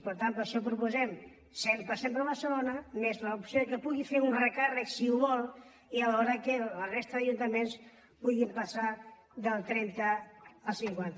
per tant per això proposem el cent per cent per a barcelona més l’opció que pugui fer un recàrrec si ho vol i alhora que la resta d’ajuntaments puguin passar del trenta al cinquanta